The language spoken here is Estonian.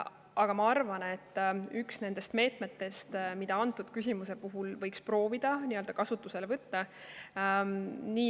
Samas ma arvan, et see on üks nendest meetmetest, mida võiks proovida kasutusele võtta.